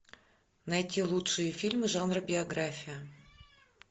найти лучшие фильмы жанра биография